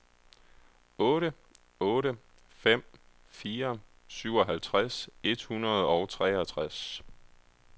otte otte fem fire syvoghalvtreds et hundrede og treogtres